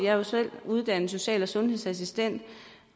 jeg er selv uddannet som social og sundhedsassistent